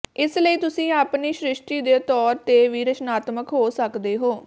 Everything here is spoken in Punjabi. ਇਸ ਲਈ ਤੁਸੀਂ ਆਪਣੀ ਸ੍ਰਿਸ਼ਟੀ ਦੇ ਤੌਰ ਤੇ ਵੀ ਰਚਨਾਤਮਕ ਹੋ ਸਕਦੇ ਹੋ